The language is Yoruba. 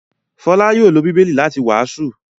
Fọlá yóò lọ Bíbélì láti wàásù.